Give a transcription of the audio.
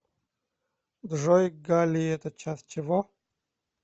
джой галлий это часть чего